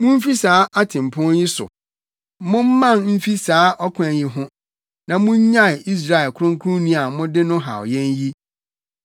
Mumfi saa ɔtempɔn yi so, momman mfi saa ɔkwan yi ho na munnyae Israel Kronkronni a mode no haw yɛn yi!”